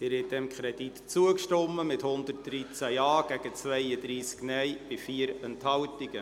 Sie haben dem Kredit zugestimmt, mit 113 Ja- gegen 32 Nein-Stimmen bei 4 Enthaltungen.